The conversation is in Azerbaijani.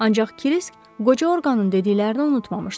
Ancaq Kırisk qoca orqanın dediklərini unutmamışdı.